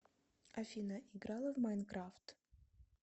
афина играла в майнкрафт